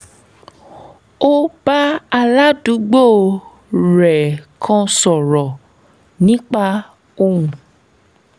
ó bá aládùúgbò um rẹ̀ kan sọ̀rọ̀ nípa ohun